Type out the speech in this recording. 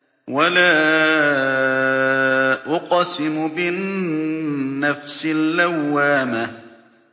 وَلَا أُقْسِمُ بِالنَّفْسِ اللَّوَّامَةِ